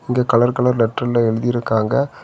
இங்க colour colour லெட்டர்ல எழுதிருக்காங்க.